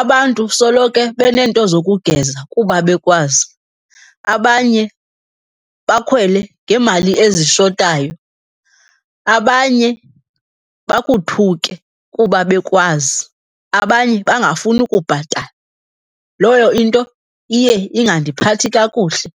abantu soloke beneento zokugeza kuba bekwazi. Abanye bakhwele ngeemali ezishotayo, abanye bakuthuke kuba bekwazi, abanye bangafuni ukubhatala. Leyo into iye ingandiphathi kakuhle.